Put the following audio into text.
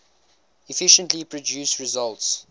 efficiently produce results